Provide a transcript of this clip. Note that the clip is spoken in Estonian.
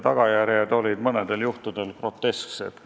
Tagajärjed olid mõnedel juhtudel grotesksed.